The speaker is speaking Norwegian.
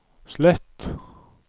slett